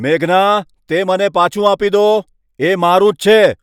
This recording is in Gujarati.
મેઘના, તે મને પાછું આપી દો. એ મારું જ છે!